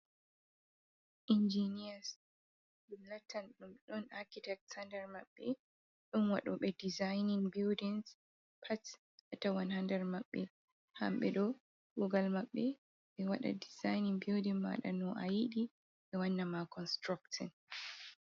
Injiniyars, ɗum lattan ɗum ɗon akitek haa nder maɓɓe. Ɗon waɗoɓe disainin buldings, pat a tawan haa nder maɓɓe. Hamɓe ɗo kuugal maɓɓe, ɓe waɗa disainin bulding ɓe waɗa no a yiɗi, ɓe wanna ma constructin.